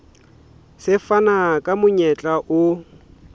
se fana ka monyetla o